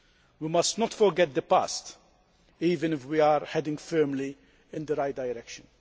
We must not forget the past even if we are heading firmly in the right direction.